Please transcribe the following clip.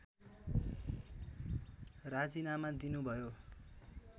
राजीनामा दिनुभयो